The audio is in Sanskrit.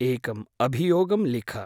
एकम् अभियोगं लिख।